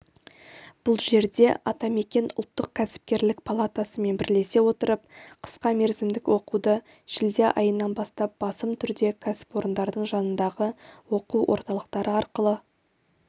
бұл жерде атамекен ұлттық кәсіпкерлік палатасымен бірлесе отырып қысқа мерзімдік оқуды шілде айынан бастап басым түрде кәсіпорындардың жанындағы оқу орталықтары арқылы